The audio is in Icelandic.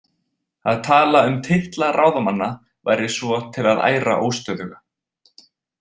Að tala um titla ráðamanna væri svo til að æra óstöðuga.